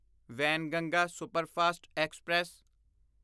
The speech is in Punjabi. Wainganga superfast express